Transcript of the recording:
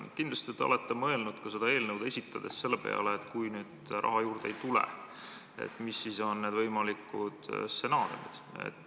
Kindlasti te olete mõelnud ka seda eelnõu esitades selle peale, et kui nüüd raha juurde ei tule, mis on need võimalikud stsenaariumid.